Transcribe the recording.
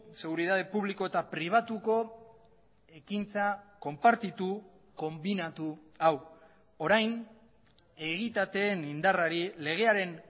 seguritate publiko eta pribatuko ekintza konpartitu konbinatu hau orain egitateen indarrari legearen